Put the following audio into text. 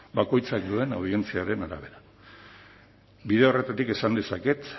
bakoitzak duen audientziaren arabera bide horretatik esan dezaket